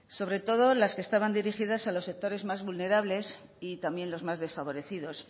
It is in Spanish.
sobre todo las que estaban dirigidas a los sectores más vulnerables y también los más desfavorecidos